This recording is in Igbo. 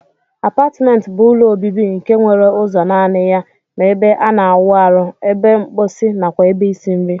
Apatment bu ụlọ obibi nke nwere ụzo nani ya ma ebe ana awụ arụ, ebe nkposi nakwa ebe isi nri.